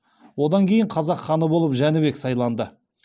одан кейін қазақ ханы болып жәнібек сайланды